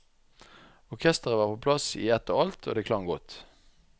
Orkestret var på plass i ett og alt, og det klang godt.